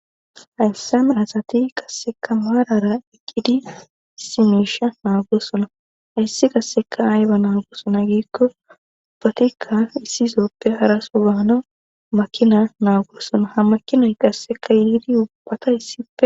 Hayssan asati qasseka maarara eqqidi simiisha naagosona hayssi qasseka ayba naagosona giikko batikka issizooppe haraso baana makina naagosona ha makinay qasseka yiidi ubbata issie.